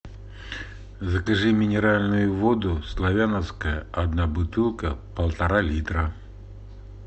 закажи минеральную воду славяновская одна бутылка полтора литра